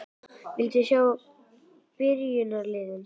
Viltu sjá byrjunarliðin?